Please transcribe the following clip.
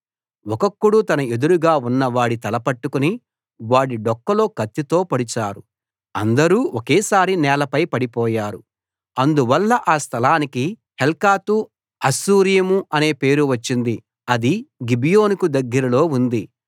ఒక్కొక్కడు తన ఎదురుగా ఉన్నవాడి తల పట్టుకుని వాడి డొక్కలో కత్తితో పొడిచారు అందరూ ఒకేసారి నేలపై పడిపోయారు అందువల్ల ఆ స్థలానికి హెల్కతు హస్సూరీము అని పేరు వచ్చింది అది గిబియోనుకు దగ్గరలో ఉంది